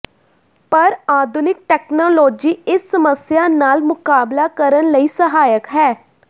ਪਰ ਆਧੁਨਿਕ ਤਕਨਾਲੋਜੀ ਇਸ ਸਮੱਸਿਆ ਨਾਲ ਮੁਕਾਬਲਾ ਕਰਨ ਲਈ ਸਹਾਇਕ ਹੈ